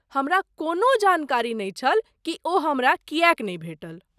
हमरा कोनो जानकारी नहि छल कि ओ हमरा किएक नहि भेटल।